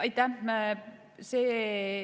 Aitäh!